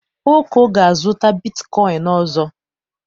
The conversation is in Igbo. Oko ga-azụta bitkoịn ọzọ.